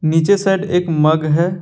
नीचे साइड में एक मग है।